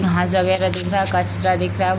यहाँ जगह का दिख रहा है कचरा दिख रहा --